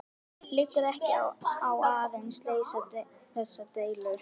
Liggur ekki á að leysa þessa deilu?